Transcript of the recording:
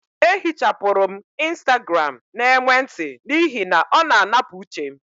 Eehichapụrụ m Instagram n' emwenti m n'ihi na ọ na-anapụ uche m